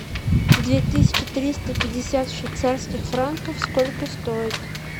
две тысячи триста пятьдесят швейцарских франков сколько стоит